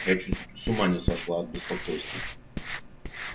я чуть с ума не сошла от беспокойства